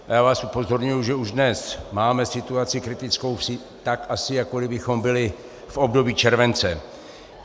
Já vás upozorňuji, že už dnes máme situaci kritickou tak, asi jako kdybychom byli v období července.